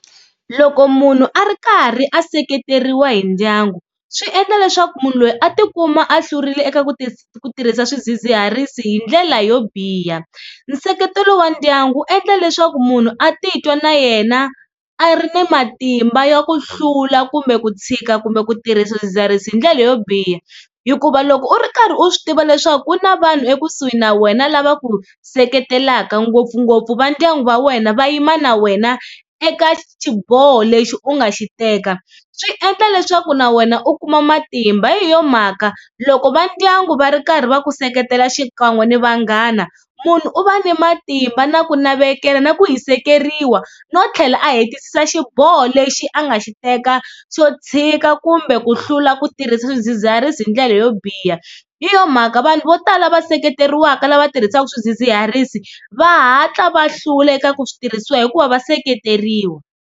Loko munhu a ri karhi a seketeriwa hi ndyangu, swi endla leswaku munhu loyi a tikuma a hlurile eka ku tirhisa swidzidziharisi hi ndlela yo biha. Nseketelo wa ndyangu wu endla leswaku munhu a titwa na yena a ri ni matimba ya ku hlula kumbe ku tshika kumbe ku tirhisa swidzidziharisi hi ndlela yo biha. Hikuva loko u ri karhi u swi tiva leswaku ku na vanhu ekusuhi na wena lava ku seketelaka ngopfungopfu va ndyangu va wena va yima na wena eka xiboho lexi u nga xi teka, swi endla leswaku na wena u kuma matimba hi yo mhaka loko va ndyangu va ri karhi va ku seketela xikan'we ni vanghana munhu u va ni matimba, na ku navela, na ku hisekeriwa no tlhela a hetisisa xiboho lexi a nga xi teka xo tshika kumbe ku hlula ku tirhisa swidzidziharisi hi ndlela yo biha. Hi yo mhaka vanhu vo tala va seketeriwaka lava tirhisaka swidzidziharisi va hatla va hlula eka ku switirhisiwa hikuva va seketeriwa.